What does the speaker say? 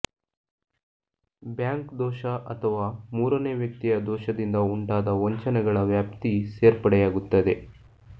bank ದೋಷ ಅಥವಾ ಮೂರನೇ ವ್ಯಕ್ತಿಯ ದೋಷದಿಂದ ಉಂಟಾದ ವಂಚನೆಗಳ ವ್ಯಾಪ್ತಿ ಸೇರ್ಪಡೆಯಾಗುತ್ತದೆ